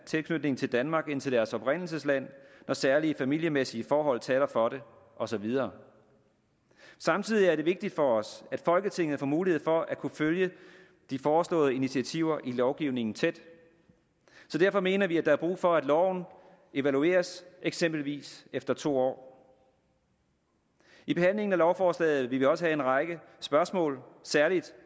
tilknytning til danmark end til deres oprindelsesland når særlige familiemæssige forhold taler for det og så videre samtidig er det vigtigt for os at folketinget får mulighed for at kunne følge de foreslåede initiativer i lovgivningen tæt derfor mener vi at der er brug for at loven evalueres eksempelvis efter to år i behandlingen af lovforslaget vil vi også have en række spørgsmål særlig